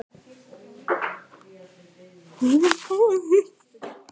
Stærsti haförn sem sést hefur